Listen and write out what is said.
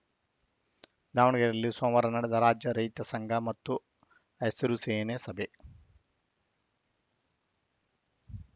ದಾವಣಗೆರೆಯಲ್ಲಿ ಸೋಮವಾರ ನಡೆದ ರಾಜ್ಯ ರೈತ ಸಂಘ ಮತ್ತು ಹಸಿರು ಸೇನೆ ಸಭೆ